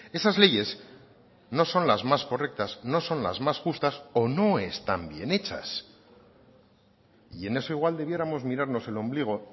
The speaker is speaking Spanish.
esas leyes no son las más correctas no son las más justas o no están bien hechas y en eso igual debiéramos mirarnos el ombligo